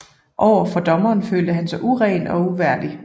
Over for Dommeren følte han sig uren og uværdig